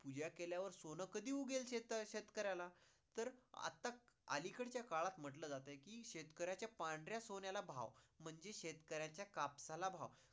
पूजा केल्यावर सोन कधी उगेल शेतकऱ्याला. तर आता अलीकडच्या काळात म्हंटलं जातंय कि शेतकरयांचा पांढऱ्या सोन्याला भाव, म्हणजे शेतकऱ्याच्या कापसाला भाव